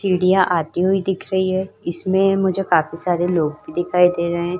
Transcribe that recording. चिड़िया आती हुई दिख रही है। इसमें मुझे काफी सारे लोग भी दिखाई दे रहे हैं।